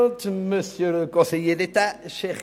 Kommissionssprecher